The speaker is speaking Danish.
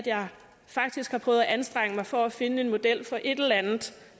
jeg faktisk har prøvet at anstrenge mig for at finde en model for et eller andet